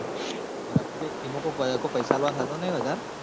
એટલ ઈમો કોઈ પઇસા આલવાનું થતું નહિ વધાર